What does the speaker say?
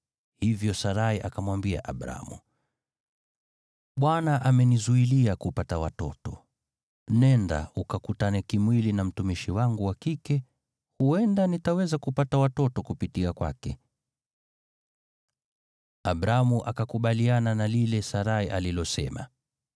hivyo Sarai akamwambia Abramu, “ Bwana amenizuilia kupata watoto. Nenda, ukakutane kimwili na mtumishi wangu wa kike, huenda nitaweza kupata watoto kupitia kwake.” Abramu akakubaliana na lile Sarai alilosema.